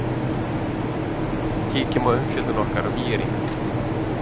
Kíkjum á umfjöllun okkar um ÍR-inga.